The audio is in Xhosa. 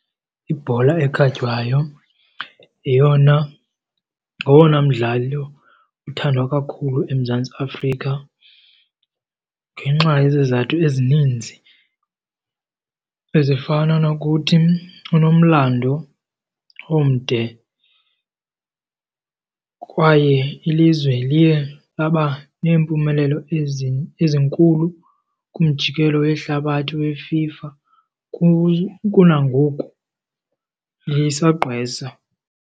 Ibhola ekhatywayo yeyona ngowona mdlalo uthandwa kakhulu eMzantsi Afrika ngenxa yezizathu ezininzi ezifana nokuthi inomlando omde kwaye ilizwe liye laba neempumelelo ezinkulu kumjikelo wehlabathi weFIFA. Kunangoku lisagqwesa.